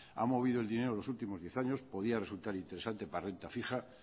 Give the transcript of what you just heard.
ha movido el dinero en los últimos diez años podía resultar interesante para renta fija